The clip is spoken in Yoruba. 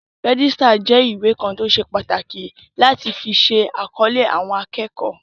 Rẹ́jísítà jẹ́ ìwé kan tó ṣe pàtàkì láti fi ṣe àkọlé àwọn akẹ́kọ̀ọ́